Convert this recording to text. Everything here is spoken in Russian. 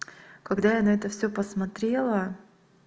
когда я на это все посмотрела